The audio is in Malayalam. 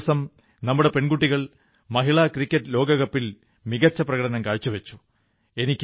കഴിഞ്ഞ ദിവസം നമ്മുടെ പെൺകുട്ടികൾ മഹിളാ ക്രിക്കറ്റ് ലോകകപ്പിൽ മികച്ച പ്രകടനം കാഴ്ചവച്ചു